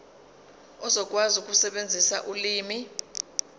uzokwazi ukusebenzisa ulimi